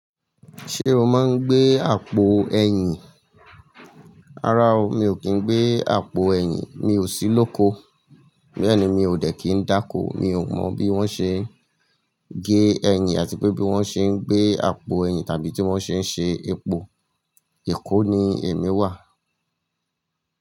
Ṣé o máa ń gbé àpò ẹ̀yìn? Rárá o, mi ò kí ń gbé àpò ẹ̀yìn. Mi ò sí lóko. Bẹ́ẹ̀ ni, mi ò dẹ̀ kí ń dákó. Mi ò mọ̀ bí wón ṣe ń gé ẹ̀yìn àti pé bí wón ṣe ń gbé àpò ẹ̀yìn tàbí tí wón ṣe ń ṣe epo. Èkó ni èmi wà.